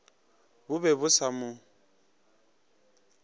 bo be bo sa mo